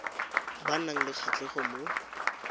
ba nang le kgatlhego mo